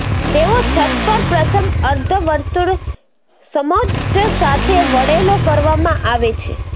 તેઓ છત પર પ્રથમ અર્ધ વર્તુળ સમોચ્ચ સાથે વળેલો કરવામાં આવે છે